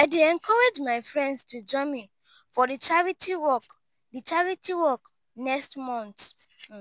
i dey encourage my friends to join me for di charity walk di charity walk next month.